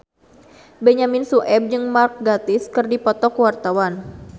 Benyamin Sueb jeung Mark Gatiss keur dipoto ku wartawan